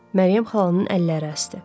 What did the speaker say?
Məryəm xalanın əlləri əsdi.